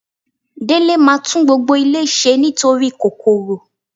Délé máa tún gbogbo ilé ṣe nítorí kòkòrò.